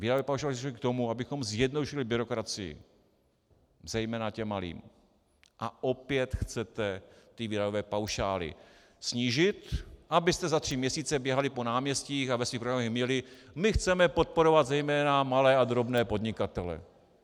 Výdajové paušály slouží k tomu, abychom zjednodušili byrokracii zejména těm malým, a opět chcete ty výdajové paušály snížit, abyste za tři měsíce běhali po náměstích a ve svých programech měli: My chceme podporovat zejména malé a drobné podnikatele!